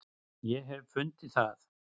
ég hef fundið það!